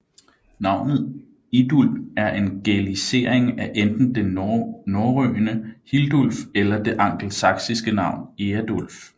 Navnet Idulb er en gælisering af enten det norrøne Hildulf eller det angelsaksiske navn Eadulf